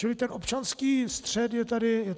Čili ten občanský střet je tady jasný.